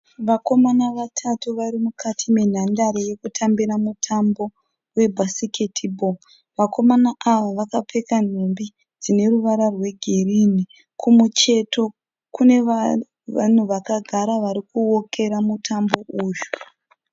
Vakomana vatatu varimukati menhandare yekutambira mutambo webasket ball. Vakomana ava vakapfeka nhumbi dzineruvara rwegirini kumucheto kune vanhu vakagara varikuwokera mutambo uyu.